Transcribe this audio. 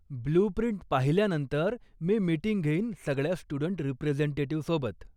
Blue print पाहिल्यानंतर, मी meeting घेईन सगळ्या स्टुडंट रिप्रेझेंटेटिव्हसोबत.